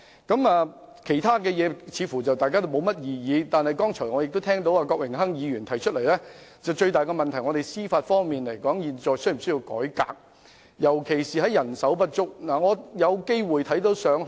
大家似乎對其他建議並無異議，但我剛才聽到郭榮鏗議員指出，現時最大問題是司法機構是否需要改革，尤其是面對人手不足的情況。